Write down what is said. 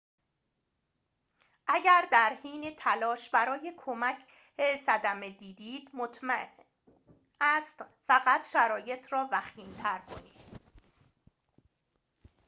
اگر در حین تلاش برای کمک صدمه دیدید ممکن است فقط شرایط را وخیم‌تر کنید